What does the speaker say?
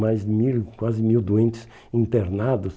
Mais mil quase mil doentes internados.